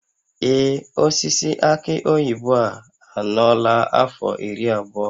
Ee, osisi aki oyibo a anọọla afọ iri abụọ